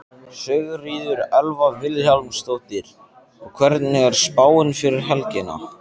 Sigríður Elva Vilhjálmsdóttir: Og hvernig er spáin fyrir helgina?